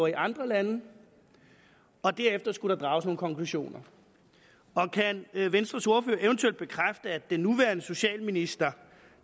i andre lande og derefter skulle der drages nogle konklusioner kan venstres ordfører eventuelt bekræfte at den nuværende socialminister